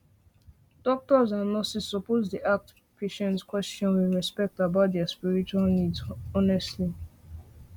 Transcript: doctors and nurses suppose dey ask patients question with respect about their spiritual needs honestly